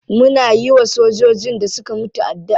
Muna yiwa sojojin da suka mutu addu'a.